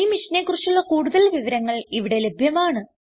ഈ മിഷനെ കുറിച്ചുള്ള കുടുതൽ വിവരങ്ങൾ ഇവിടെ ലഭ്യമാണ്